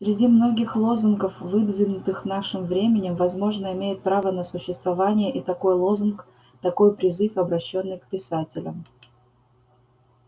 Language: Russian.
среди многих лозунгов выдвинутых нашим временем возможно имеет право на существование и такой лозунг такой призыв обращённый к писателям